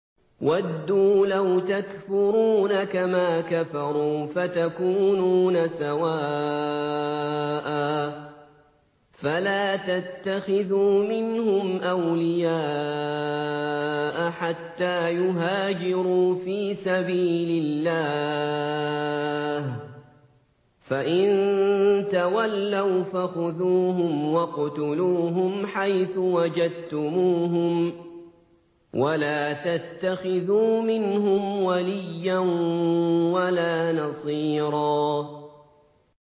وَدُّوا لَوْ تَكْفُرُونَ كَمَا كَفَرُوا فَتَكُونُونَ سَوَاءً ۖ فَلَا تَتَّخِذُوا مِنْهُمْ أَوْلِيَاءَ حَتَّىٰ يُهَاجِرُوا فِي سَبِيلِ اللَّهِ ۚ فَإِن تَوَلَّوْا فَخُذُوهُمْ وَاقْتُلُوهُمْ حَيْثُ وَجَدتُّمُوهُمْ ۖ وَلَا تَتَّخِذُوا مِنْهُمْ وَلِيًّا وَلَا نَصِيرًا